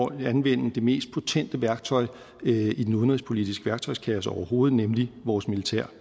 at anvende det mest potente værktøj i den udenrigspolitiske værktøjskasse overhovedet nemlig vores militær